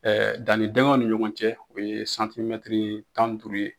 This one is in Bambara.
dannidingɛw ni ɲɔgɔn cɛ u bɛ tan duuru ye.